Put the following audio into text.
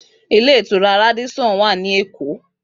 Radisson Hotel wa ni Eko